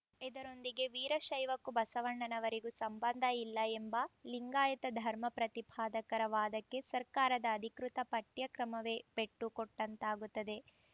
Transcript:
ಇದರೊಂದಿಗೆ ವೀರಶೈವಕ್ಕೂ ಬಸವಣ್ಣನವರಿಗೂ ಸಂಬಂಧ ಇಲ್ಲ ಎಂಬ ಲಿಂಗಾಯತ ಧರ್ಮ ಪ್ರತಿಪಾದಕರ ವಾದಕ್ಕೆ ಸರ್ಕಾರದ ಅಧಿಕೃತ ಪಠ್ಯಕ್ರಮವೇ ಪೆಟ್ಟು ಕೊಟ್ಟಂತಾಗುತ್ತದೆ